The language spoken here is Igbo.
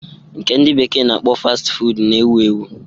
Nke ndị bekee na-akpọ Fasti Fuud na-ewu ewu.